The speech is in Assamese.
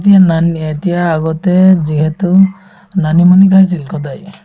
এতিয়া মান অ এতিয়া আগতে যিহেতু মানিমুনি খাইছিলো সদায়